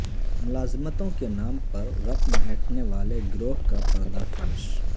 ملازمتوں کے نام پر پر رقم اینٹھنے والے گروہ کا پردہ فاش